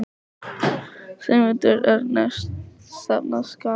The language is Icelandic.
Sigmundur Ernir: Stefna skal að?